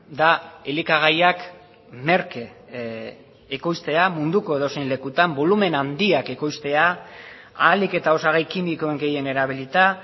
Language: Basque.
da elikagaiak merke ekoiztea munduko edozein lekutan bolumen handiak ekoiztea ahalik eta osagai kimikoen gehien erabilita